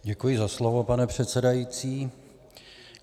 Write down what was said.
Děkuji za slovo, pane předsedající.